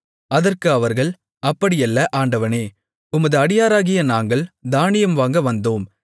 அதற்கு அவர்கள் அப்படியல்ல ஆண்டவனே உமது அடியாராகிய நாங்கள் தானியம் வாங்க வந்தோம்